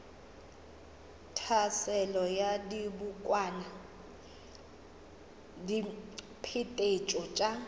tlhaselo ya dibokwana diphetetšo tša